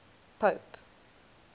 pope